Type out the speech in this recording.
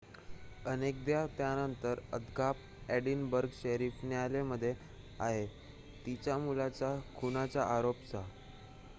Adekoya त्यानंतर अद्याप Edinburgh sheriff न्यायालयामध्ये आहे तिच्या मुलाच्या खुनाच्या आरोपासह